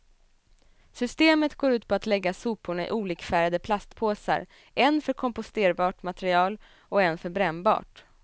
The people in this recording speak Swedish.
Systemet går ut på att lägga soporna i olikfärgade plastpåsar, en för komposterbart material och en för brännbart.